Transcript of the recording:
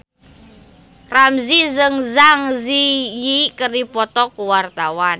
Ramzy jeung Zang Zi Yi keur dipoto ku wartawan